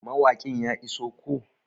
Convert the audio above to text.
Mawaƙin ya iso koh?